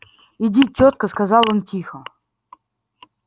иди тётка сказал он тихо